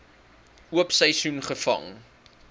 oop seisoen gevang